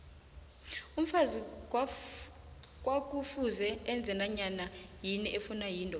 umfazi kwakufuze enze nanyanayini efuna yindoda